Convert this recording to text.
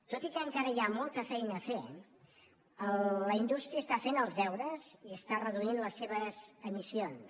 tot i que encara hi ha molta feina a fer la indústria està fent els deures i està reduint les seves emissions